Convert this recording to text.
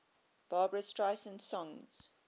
barbra streisand songs